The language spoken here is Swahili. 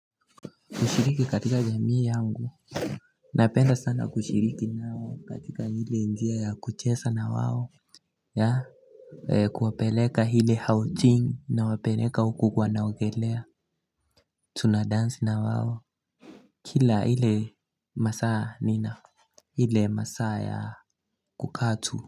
Kushiriki katika jamii yangu. Napenda sana kushiriki nao katika hile njia ya kuchesa na wao. Ya. Kuwapeleka ile hao ting na wapeleka huku kwa naogelea. Tunadansi na wao. Kila ile masaa nina. Hile masa ya kukatu.